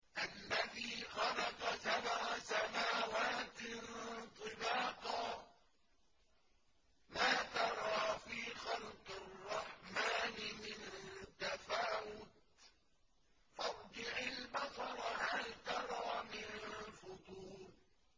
الَّذِي خَلَقَ سَبْعَ سَمَاوَاتٍ طِبَاقًا ۖ مَّا تَرَىٰ فِي خَلْقِ الرَّحْمَٰنِ مِن تَفَاوُتٍ ۖ فَارْجِعِ الْبَصَرَ هَلْ تَرَىٰ مِن فُطُورٍ